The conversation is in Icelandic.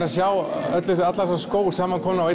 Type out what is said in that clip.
sjá alla þessa skó samankomna á